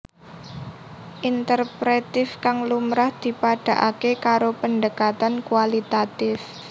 Interpretif kang lumrah dipadhaaké karo pendekatan kualitatif